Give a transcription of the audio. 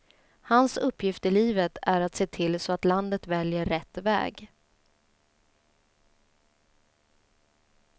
Hans uppgift i livet är att se till så att landet väljer rätt väg.